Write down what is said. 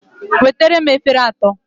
Wetara m efere atọ!